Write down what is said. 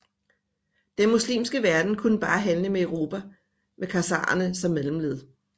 Den muslimske verden kunne bare handle med Europa med khazarerne som mellemled